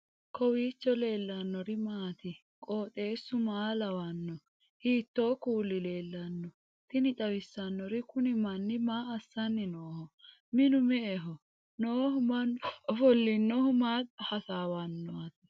kowiicho leellannori maati ? qooxeessu maa lawaanno ? hiitoo kuuli leellanno ? tini xawissannori kuni manni maa assanni nooho minu me'eho noohu mannu ofollinohu maa hasaawannati